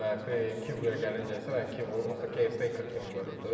Və Kivoya gəlinəcək isə, Kivo onsuz da caretaker kimi görürdüm.